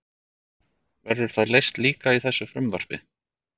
Verður það leyst líka í þessu frumvarpi?